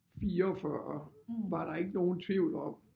44 var der ikke nogen tvivl om